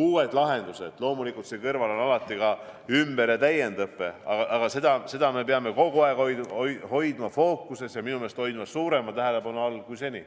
uued lahendused – loomulikult siin kõrval on alati ka ümber- ja täiendõpe –, me peame seda kogu aeg hoidma fookuses, ja minu meelest hoidma suurema tähelepanu all, kui seni.